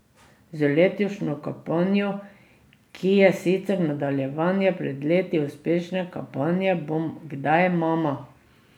Z letošnjo kampanjo, ki je sicer nadaljevanje pred leti uspešne kampanje Bom kdaj mama?